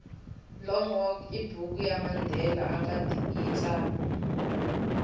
long walk ibhuku yamandela angayitsala